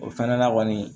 O fɛnɛ na kɔni